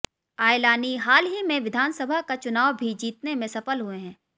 आयलानी हाल ही में विधानसभा का चुनाव भी जीतने में सफल हुए हैं